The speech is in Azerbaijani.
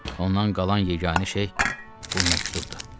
Ondan qalan yeganə şey bu məktubdur.